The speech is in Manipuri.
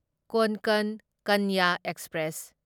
ꯀꯣꯟꯀꯟ ꯀꯟꯌꯥ ꯑꯦꯛꯁꯄ꯭ꯔꯦꯁ